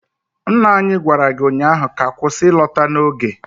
Nna anyi gwara gi ụnyaahụ ka kwụsị ịlọta n'oge!